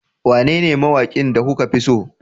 Wanene mawakin da kuka fi so